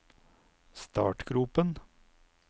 startgropen